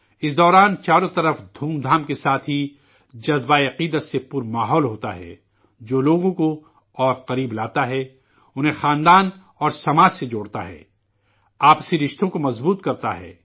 اس دوران چاروں طرف دھوم دھام کے ساتھ ہی بھکتی کے جذبے سے بھرا ماحول ہوتا ہے، جو لوگوں کو اور قریب لاتا ہے، انہیں خاندان اور سماج سے جوڑتا ہے، آپسی رشتوں کو مضبوط کرتا ہے